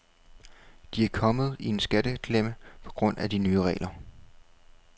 De er kommet i en skatteklemme på grund af de nye regler.